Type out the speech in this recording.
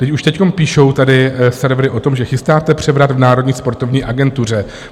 Teď už teď píšou tady servery o tom, že chystáte převrat v Národní sportovní agentuře.